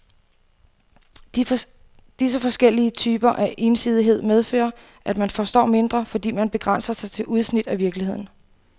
Disse forskellige typer af ensidighed medfører, at man forstår mindre, fordi man begrænser sig til udsnit af virkeligheden.